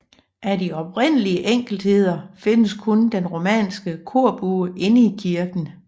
Af de oprindelige enkeltheder findes kun den romanske korbue inde i kirken